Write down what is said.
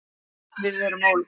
Öll erum við ólík.